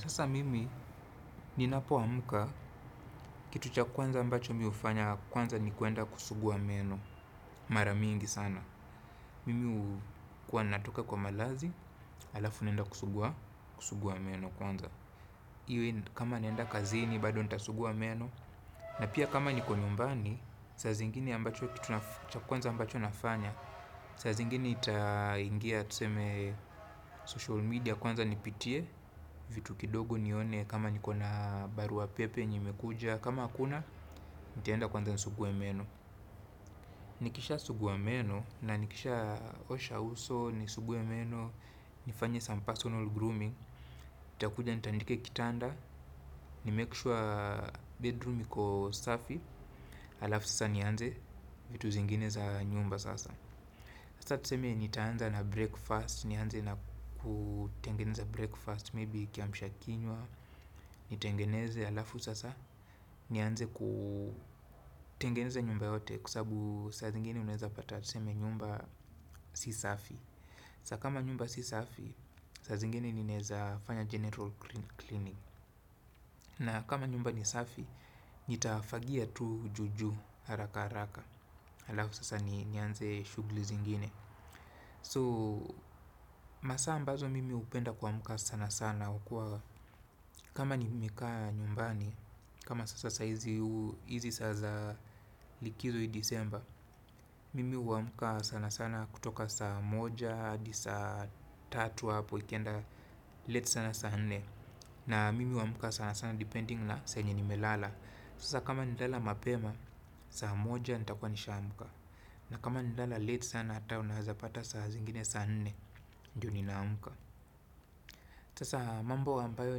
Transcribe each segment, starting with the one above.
Sasa mimi ninapoamka kitu cha kwanza ambacho mi hufanya yakwanza ni kuenda kusuguwa meno maramingi sana. Mimi huwa natoka kwa malazi, alafu naenda kusuguwa, kusuguwa meno kwanza. Iwe kama naenda kazini, bado nitasuguwa meno. Na pia kama niko nyumbani, saa zingini ambacho kitu cha kwanza ambacho nafanya, sa zingini ita ingia tuseme social media kwanza nipitie vitu kidogo nione kama nikona baru pepe yenye imekuja kama hakuna nitaenda kwanza nisuguwe meno. Nikisha suguwe meno na nikisha osha uso nisuguwe meno nifanye some personal grooming. Itakuja nitandike kitanda, nimekishwa bedroom niko safi alafu sasa nianze vitu zingine za nyumba sasa. Sasa tuseme nitaanza na breakfast, nianze na kutengeneza breakfast, maybe kiamsha kinywa, nitengeneze alafu sasa, nianze kutengeneza nyumba yote kwa sababu saa zingine unaweza pata tuseme nyumba si safi. Sa kama nyumba si safi, saa zingine nineza fanya general cleaning. Na kama nyumba ni safi, nitafagia tu juu juu haraka haraka, alafu sasa nianze shughuli zingine. So, masaa ambazo mimi upenda kumka sana sana ukua. Kama ni mika nyumbani, kama sasa hizi sasa likizo hii disemba. Mimi uamuka sana sana kutoka saa moja, di saa tatua, poikenda, leti sana sana. Na mimi huamka sana sana depending na saa yenye nimelala. Sasa kama nili lala mapema, saa moja nitakwa nisha amka na kama nili lala late sana ata unaweza pata saa zingine saa nne, ndiyo nina amka. Sasa mambo ambayo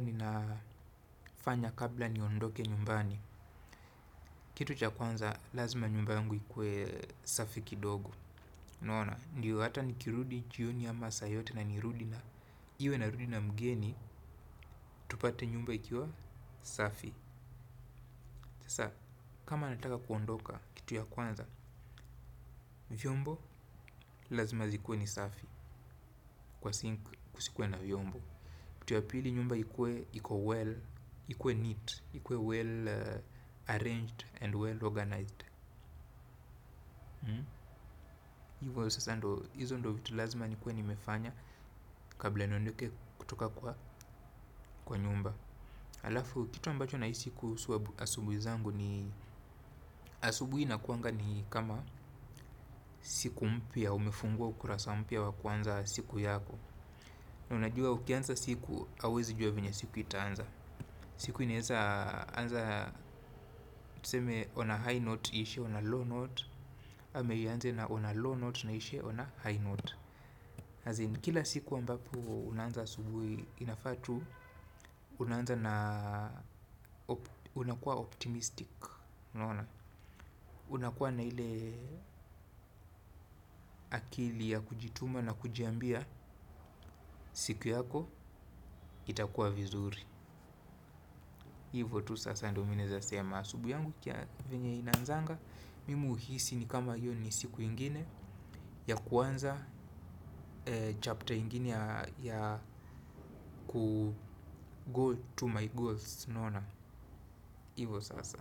ninafanya kabla niondoke nyumbani. Kitu cha kwanza lazima nyumba yangu ikue safi kidogo. Unaona, ndiyo hata nikirudi jioni ama saa yoyote na nirudi na iwe na rudi na mgeni, tupate nyumba ikiwa safi. Tasa kama nataka kuondoka kitu ya kwanza, vyombo lazima zikuwe ni safi. Kwa sink kisikuwe na vyombo. Kitu ya pili ikue nyumba iko well, ikuwe neat, ikuwe well arranged and well organized. Hivyo sasa ndo, hizo ndo vitu lazima nikuwe nimefanya kabla niondoke kutoka kwa nyumba. Alafu, kitu ambacho nahisi kuhusu zangu ni asubuhi nakuanga ni kama siku mpya umefungua ukurasa mpya wa kwanza siku yako. Na unajua ukianza siku, hauwezi juwa venya siku itaanza. Siku inaeza anza tuseme on a high note iishe on a low note. Hameyiaanze na ona low note na ishe ona high note. Hazine kila siku ambapo unanza subwe inafatu. Unanza na unakuwa optimistic nona. Unakuwa na ile akili ya kujituma na kujiambia siku yako itakuwa vizuri. Hivo tu sasa ando mineza sema subwe yangu kia venye inanzanga. Mimu uhisi ni kama yoni siku ingine ya kuanza chapter ingine ya kugow to my goals nona. Hivo sasa.